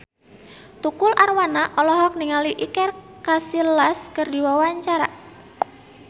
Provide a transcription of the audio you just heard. Tukul Arwana olohok ningali Iker Casillas keur diwawancara